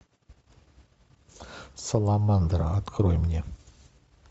саламандра открой мне